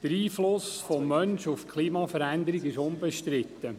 Der Einfluss des Menschen auf die Klimaveränderung ist unbestritten.